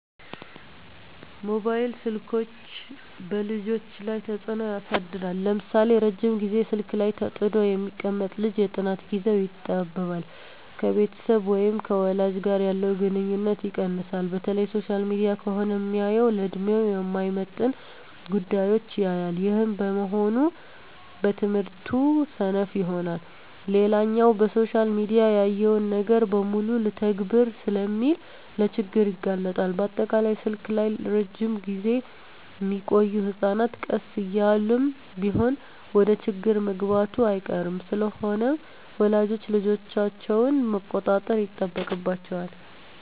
መባይል ስልኮች በልጆች ላይ ተጽኖ ያሳድራል ለምሳሌ:- ረጅም ግዜ ስልክ ላይ ተጥዶ የሚቀመጥ ልጅ የጥናት ግዜው ይጣበባል፣ ከቤተሰብ ወይም ከወላጅ ጋር ያለው ግንኙነት ይቀንሳል፣ በተለይ ሶሻል ሚዲያ ከሆነ ሚያየው ለድሜው የማይመጥን ጉዳዮች ያያል ይህም በመሆኑ በትምህርቱ ሰነፍ ይሆናል። ሌላኛው በሶሻል ሚዲያ ያየውን ነገር በሙሉ ልተግብር ስለሚል ለችግር ይጋለጣል፣ በአጠቃላይ ስልክ ላይ እረጅም ግዜ ሚቆዮ ህጸናት ቀስ እያለም ቢሆን ወደችግር መግባቱ አይቀርም። ስለሆነም ወላጆች ልጆቻቸውን መቆጣጠር ይጠበቅባቸዋል